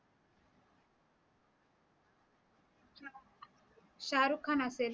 शारुख खान असेल